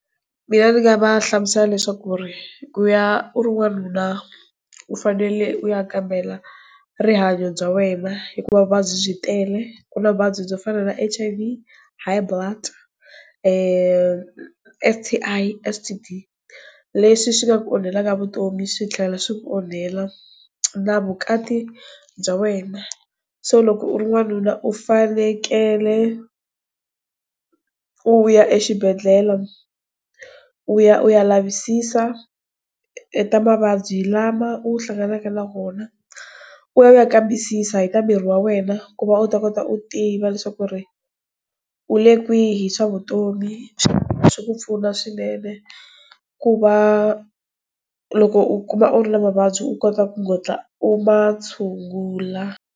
Mina ndzi nga va hlamusela leswaku ku ri ku ya u ri n'wanuna u fanele u ya kambela rihanyo bya wena hikuva vuvabyi tele ku na vuvabyi byo fana ra H_I_V, high blood, S_T_I, S_T_D leswi swi nga ku onhelaka vutomi swi tlhela swi ku onhela na vukati bya wena so loko u ri n'wanuna u fanekele u ya exibedhlele u ya u ya lavisisa na mavabyi lama u hlanganaka na wona u ya u ya kambisisa hi ka miri wa wena ku va u ta kota u tiva ku ri u le kwihi swa vutomi swi ku pfuna swinene ku va loko u kuma u ri na mavabyi u kota ku kota u ma tshungula.